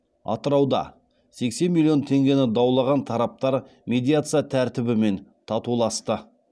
атырауда сексен миллион теңгені даулаған тараптар медиация тәртібімен татуласты